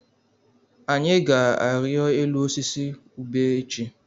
Anyị ga-arịọ elu osisi ube echi.